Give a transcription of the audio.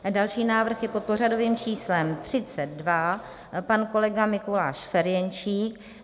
Další návrh je pod pořadovým číslem 32, pan kolega Mikuláš Ferjenčík.